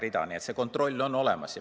Nii et see kontroll on olemas.